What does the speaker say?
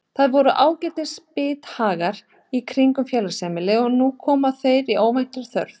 Það voru ágætis bithagar í kringum félagsheimilið og nú komu þeir í óvæntar þarfir.